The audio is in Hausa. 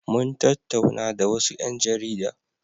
Mun tattauna da wasu ƴan jarida.